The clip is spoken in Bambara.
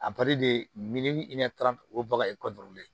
o baga